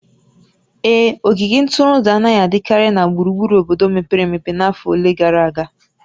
Ee, ogige ntụrụndụ anaghị adịkarị na gburugburu obodo mepere emepe n'afọ ole gara aga